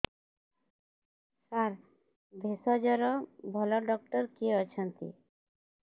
ସାର ଭେଷଜର ଭଲ ଡକ୍ଟର କିଏ ଅଛନ୍ତି